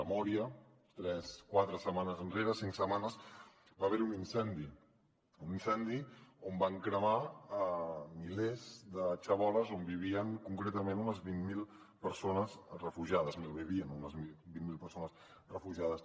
a mória tres quatre setmanes enrere cinc setmanes va haver hi un incendi un incendi on van cremar milers de xaboles on vivien concretament unes vint mil persones refugiades malvivien unes vint mil persones refugiades